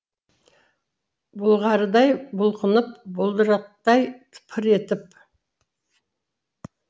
бұлғарыдай бұлқынып бұлдырықтай пыр етіп